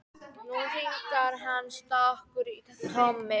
Nú hringlar hann stakur í tómi.